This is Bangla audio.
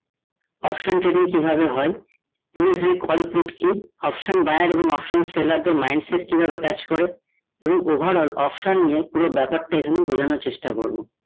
option trading কিভাবে হয়ে এবং এখানে call put কি? option buyer এবং option seller দের mindset কি ভাবে কাজ করে এবং overall option নিয়ে পুরো ব্যাপার টা এখানে বোঝানোর চেষ্টা করবো